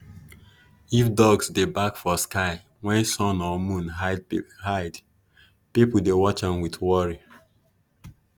if dogs dey bark for sky when sun or moon hide people dey watch am with worry.